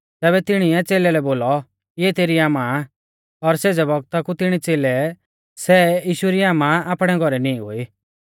तैबै तिणीऐ च़ेलै लै बोलौ इऐ तेरी आमा आ और सेज़ै बौगता कु तिणी च़ेलै ऐ सै यीशु री आमा आपणै घौरै नींई गोई